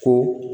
Ko